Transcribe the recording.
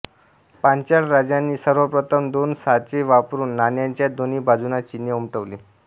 पांचाल राजांनी सर्व प्रथम दोन साचे वापरून नाण्याच्या दोन्ही बाजूंना चिन्हे उमटवली